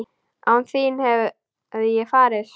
Án þín hefði ég farist?